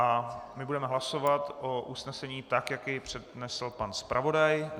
A my budeme hlasovat o usnesení, tak jak jej přednesl pan zpravodaj.